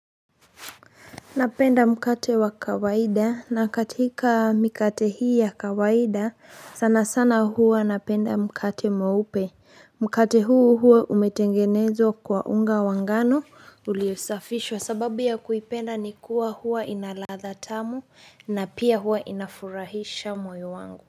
Napenda mkate wa kawaida na katika mikate hii ya kawaida sana sana huwa napenda mkate mweupe mkate huu huwa umetengenezwa kwa unga wa ngano uliosafishwa sababu ya kuipenda ni kuwa huwa ina ladha tamu na pia huwa inafurahisha moyo wangu.